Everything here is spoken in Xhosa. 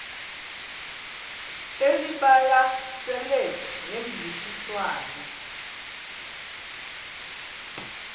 elibalasele ngemvisiswano r